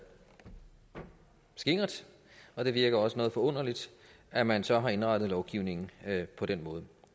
skingert og det virker også noget forunderligt at man så har indrettet lovgivningen på den måde